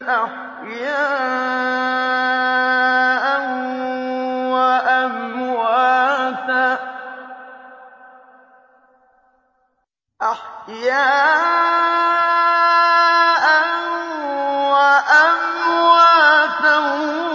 أَحْيَاءً وَأَمْوَاتًا